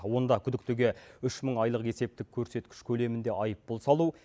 онда күдіктіге үш мың айлық есептік көрсеткіш көлемінде айыппұл салу